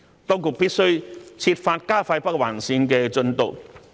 當局必須設法加快北環綫進度。